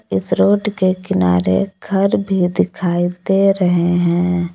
इस रोड के किनारे घर भी दिखाई दे रहे है।